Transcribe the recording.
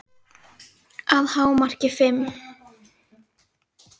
Að hámarki fimm.